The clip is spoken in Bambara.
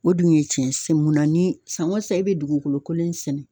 O dun ye tiɲɛ mun na ni san o san e bɛ dugukolo kololen sɛnɛ.